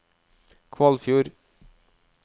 Kvalfjord